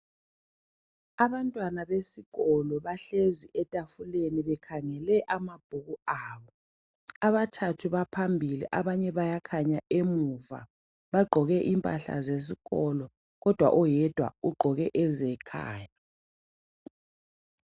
Abantwana besikolo bahlezi etafuleni bekhangele amabhuku abo. Abathathu baphambili abanye bayakhanya emuva. Bagqoke impahla zesikolo kodwa oyedwa ugqoke ezekhaya.